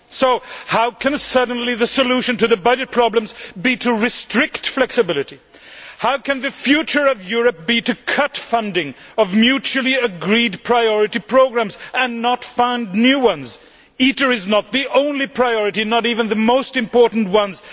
So how can the solution to the budget problems suddenly be to restrict flexibility? How can the future of Europe be to cut funding of mutually agreed priority programmes and not fund new ones ITER is not the only priority or even the most important ones.